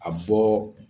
A bɔ